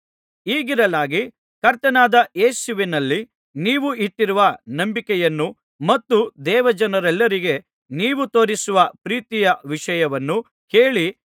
ಹೀಗಿರಲಾಗಿ ಕರ್ತನಾದ ಯೇಸುವಿನಲ್ಲಿ ನೀವು ಇಟ್ಟಿರುವ ನಂಬಿಕೆಯನ್ನು ಮತ್ತು ದೇವಜನರೆಲ್ಲರಿಗೆ ನೀವು ತೋರಿಸುವ ಪ್ರೀತಿಯ ವಿಷಯವನ್ನು ಕೇಳಿ